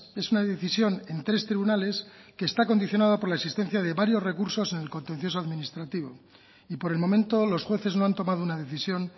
es una decisión en tres tribunales que está condicionado por la existencia de varios recursos en el contencioso administrativo y por el momento los jueces no han tomado una decisión